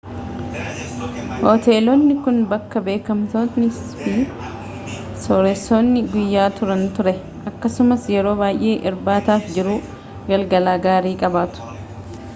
hoteelonni kun bakka beekamtoonni fi sooressoonni guyyaa turani ture akkasumas yeroo baay'ee irbaata fi jiruu galgalaa gaarii qabaatu